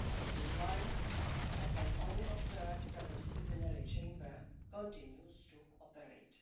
Meanwhile, I can only observe that the disciplinary chamber continues to operate.